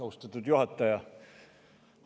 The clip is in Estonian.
Austatud juhataja!